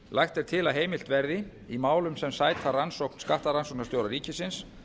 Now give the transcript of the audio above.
lagt er til að heimilt verði í málum sem sæta rannsókn skattrannsóknarstjóra ríkisins